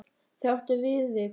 Þau áttu ekki Viðvík.